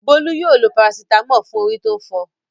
Bólú yóò lo parasítámọ̀ fún orí tó ń fọ.